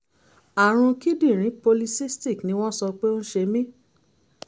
àrùn kíndìnrín polycystic ni wọ́n sọ pé ó ń ṣe mí